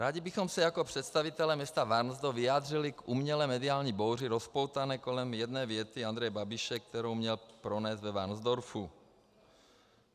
Rádi bychom se jako představitelé města Varnsdorf vyjádřili k umělé mediální bouři rozpoutané kolem jedné věty Andreje Babiše, kterou měl pronést ve Varnsdorfu.